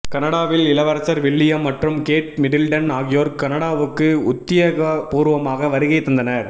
கனடாவில் இளவரசர் வில்லியம் மற்றும் கேட் மிடில்டன் ஆகியோர் கனடாவுக்கு உத்தியோகபூர்வமாக வருகை தந்தனர்